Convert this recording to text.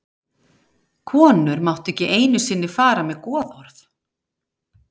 Konur máttu ekki einu sinni fara með goðorð.